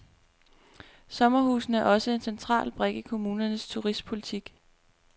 Sommerhusene er også en central brik i kommunernes turistpolitik.